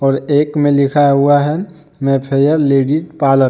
और एक में लिखा हुआ है मैं फेयर लेडिस पार्लर ।